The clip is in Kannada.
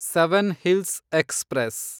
seven hills express